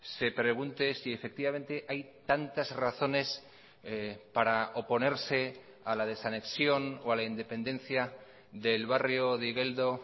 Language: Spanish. se pregunte si efectivamente hay tantas razones para oponerse a la desanexión o a la independencia del barrio de igeldo